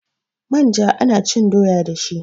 manja ana cin doya dashi